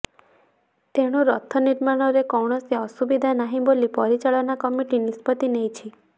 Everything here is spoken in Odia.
ତେଣୁ ରଥ ନିର୍ମାଣରେ କୌଣସି ଅସୁବିଧା ନାହିଁ ବୋଲି ପରିଚାଳନା କମିଟି ନିଷ୍ପତ୍ତି ନେଇଛି